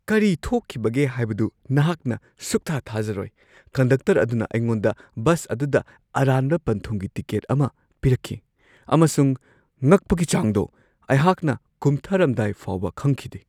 ꯀꯔꯤ ꯊꯣꯛꯈꯤꯕꯒꯦ ꯍꯥꯏꯕꯗꯨ ꯅꯍꯥꯛꯅ ꯁꯨꯛꯊꯥ-ꯊꯥꯖꯔꯣꯏ ! ꯀꯟꯗꯛꯇꯔ ꯑꯗꯨꯅ ꯑꯩꯉꯣꯟꯗ ꯕꯁ ꯑꯗꯨꯗ ꯑꯔꯥꯟꯕ ꯄꯟꯊꯨꯡꯒꯤ ꯇꯤꯀꯦꯠ ꯑꯃ ꯄꯤꯔꯛꯈꯤ, ꯑꯃꯁꯨꯡ ꯉꯛꯄꯒꯤ ꯆꯥꯡꯗꯣ ! ꯑꯩꯍꯥꯛꯅ ꯀꯨꯝꯊꯔꯝꯗꯥꯏ ꯐꯥꯎꯕ ꯈꯪꯈꯤꯗꯦ !